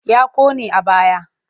Ya ƙone a baya.